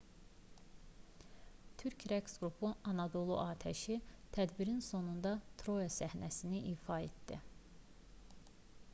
türk rəqs qrupu anadolu atəşi tədbirin sonunda troya səhnəsini ifa etdi